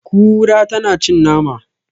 Kura tana cin nama.